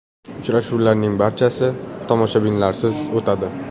Uchrashuvlarning barchasi tomoshabinlarsiz o‘tadi.